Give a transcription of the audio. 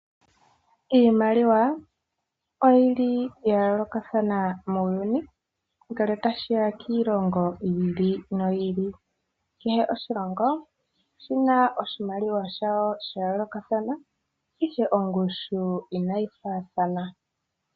Iimaliwa oyili ya yoolokathana muuyuni, ngele tashiya kiilongo yi ili noyi ili. Kehe oshilongo oshina oshimaliwa shasho sha yoolokathana ihe nongushu inayi faathana.